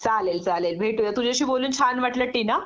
चालेल चालेल भेटूयात.तुझ्याशी बोलून छान वाटलं टीना